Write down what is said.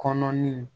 Kɔnɔ ni